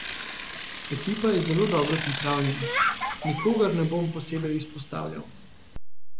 Ekipa je zelo dobro pripravljena, nikogar ne bom posebej izpostavljal.